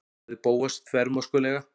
sagði Bóas þvermóðskulega.